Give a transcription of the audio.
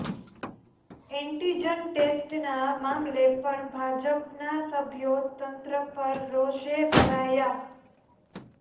antigen ટેસ્ટના મામલે પણ ભાજપના સભ્યો તંત્ર પર રોષે ભરાયા